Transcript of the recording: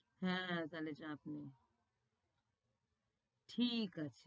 হ্যাঁ তাইলে চাপ নেই, ঠিক আছে।